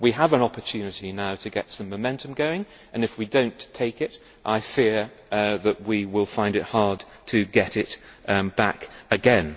We have an opportunity now to get some momentum going, and if we do not take it, I fear that we will find it hard to get it back again.